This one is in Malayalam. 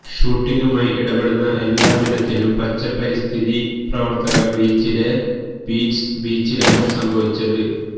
ഷൂട്ടിംഗുമായി ഇടപെടുന്ന എല്ലാ വിധത്തിലും പച്ച പരിസ്ഥിതി പ്രവർത്തകർ ബീച്ചിലെ ബീറ്റിൽസ് ബീച്ചിലാണ് സംഭവിച്ചത്